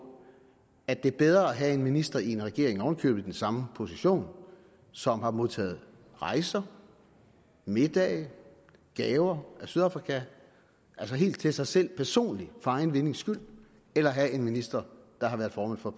at det er bedre at have en minister i en regering oven i købet i den samme position som har modtaget rejser middage gaver af sydafrika altså helt til sig selv personligt for egen vindings skyld end at have en minister der har været formand for